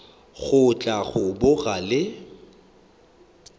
go tla go boga le